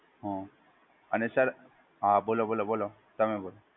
હા અને સર, હા બોલો બોલો તમે બોલો.